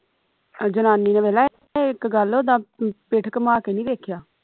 ਜਨਾਨੀ ਨੇ ਵੇਖ ਲਾ ਇਕ ਗੱਲ ਉਦਾ ਪਿੱਠ ਘੁਮਾ ਕੇ ਨਹੀਂ ਵੇਖਿਆ